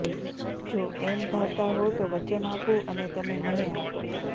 જો એમ ધારતા હો તો વચન આપું અને તમે મને આપો